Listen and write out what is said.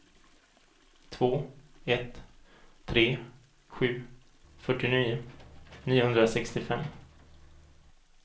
två ett tre sju fyrtionio niohundrasextiofem